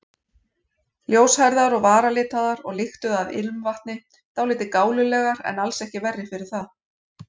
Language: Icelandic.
Ljóshærðar og varalitaðar og lyktuðu af ilmvatni, dálítið gálulegar en alls ekki verri fyrir það.